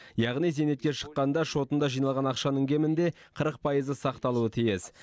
яғни зейнетке шыққанда шотында жиналған ақшаның кемінде қырық пайызы сақталуы тиіс